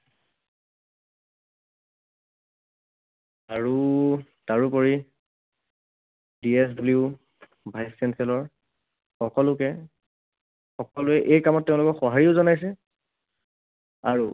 আৰু তাৰোপৰি vice chancellor সকলোকে, সকলোৱে এই কামত তেওঁলোকক সহায়ো জনাইছে। আৰু